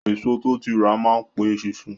Èso tó ti rà má n pe eṣinṣin